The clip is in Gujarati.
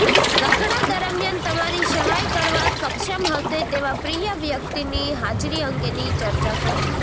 ઝઘડા દરમિયાન તમારી સહાય કરવા સક્ષમ હશે તેવા પ્રિય વ્યક્તિની હાજરી અંગેની ચર્ચા કરો